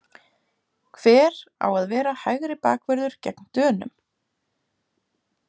Hver á að vera hægri bakvörður gegn Dönum?